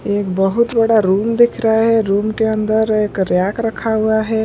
ये एक बहुत बड़ा रूम दिख रहा है रूम के अंदर एक रैक रखा हुआ है।